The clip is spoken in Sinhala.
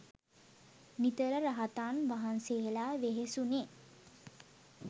නිතර රහතන් වහන්සේලා වෙහෙසුනේ.